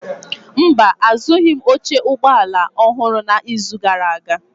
Mba, azụghịm oche ụgbọ ala ọhụrụ n'izu gara aga.